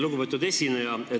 Lugupeetud esineja!